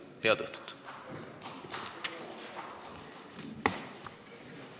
Head õhtut!